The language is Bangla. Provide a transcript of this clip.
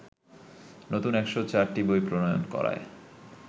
নতুন ১০৪টি বই প্রণয়ন করায়